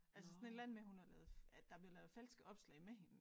Altså sådan et eller andet med hun har lavet at der blevet lavet falske opslag med hende